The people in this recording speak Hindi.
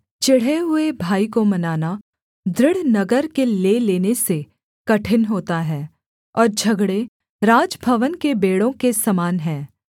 चिढ़े हुए भाई को मनाना दृढ़ नगर के ले लेने से कठिन होता है और झगड़े राजभवन के बेंड़ों के समान हैं